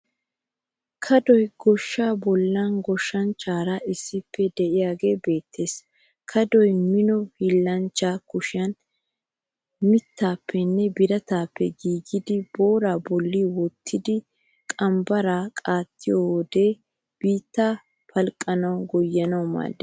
Kadoy goshshaa bollan goshshanchchaara issippe de'iyaagee beettes. Kadoy Mino hiillanchchaa kushiya mittaappenne birataappe giigidi booraa bolla wottidi qambbaraara waaxiyoode bittaa palqqanawunne goyyanawu maaddes.